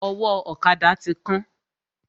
Ọwọ́ ọ̀kada ti kán.